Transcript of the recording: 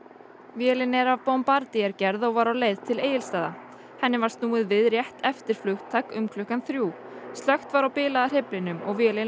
vélin er af gerð og var á leið til Egilsstaða henni var snúið við rétt eftir flugtak um klukkan þrjú slökkt var á bilaða hreyflinum og vélin